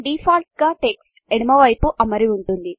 default గా text ఎడమ వైపు అమారి ఉంటుంది